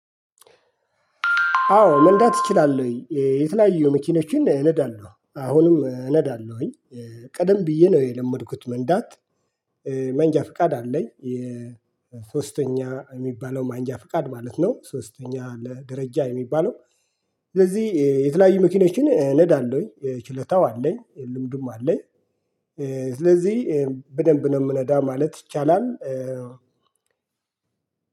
አዎ መንዳት እችላለሁኝ እ የተለያዩ መኪኖችን እነዳለሁ አሁንም እነዳለሁኝ ቀደም ብዬ ነው የለመድኩት መንዳት። መንጃ ፍቃድ አለኝ። ሶስተኛ የሚባለው መንጃ ፍቃድ ማለት ነው ሶስተኛ ለደረጃ የሚባለው። ስለዚህ የተለያዩ መኪኖችን እነዳለሁኝ ችለታው አለኝ ልምዱም አለኝ። ስለዚህ በደንብ ነው ምነዳ ማለት ይቻላል።